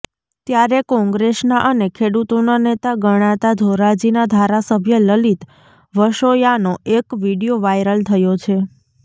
ત્યારે કોંગ્રેસના અને ખેડૂતોના નેતા ગણાતા ધોરાજીના ધારાસભ્ય લલિત વસોયાનો એક વીડિયો વાયરલ થયો છે